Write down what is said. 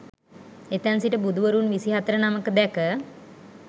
එතැන් සිට බුදුවරුන් විසිහතර නමක දැක